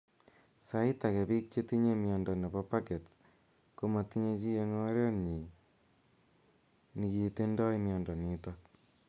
Sait age biik chetinye miondo nepo pagets komatinye chii eng oret nyii nigitindoi miondo nitok.